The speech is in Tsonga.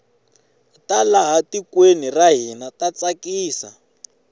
ta laha tikweni ra hina ta tsakisa